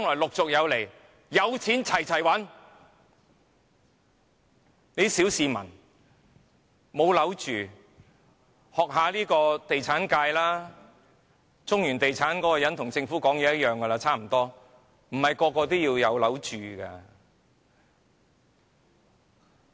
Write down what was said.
沒有屋住的小市民，應該向地產界學習，中原地產那個人的說法跟政府差不多，他說不是人人也要有屋住的。